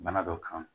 Bana dɔ kan